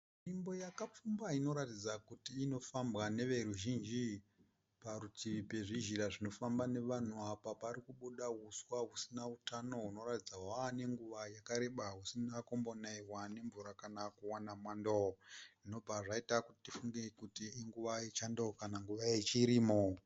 Nzvimbo yakapfumba inoratidza kuti inofambwa neveruzhinji. Parutivi pezvizhira zvinofamba nevanhu apa parikubuda huswa husina utano. Unoratidza hwave nenguva yakareba usina kumbonaiwa nemvura kana kuwana mwando. Ndobva zvaita kuti tifunge kuti inguva yechando kana nguva yechirimo.